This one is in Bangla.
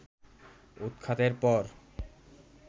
উৎখাতের পর